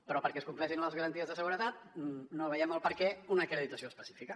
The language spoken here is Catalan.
però perquè es compleixin les garanties de seguretat no veiem el perquè una acreditació específica